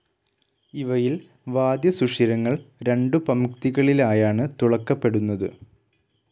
ഇവയിൽ വാദ്യസുഷിരങ്ങൾ രണ്ടു പംക്തികളിലായാണ് തുളക്കപ്പെടുന്നത്.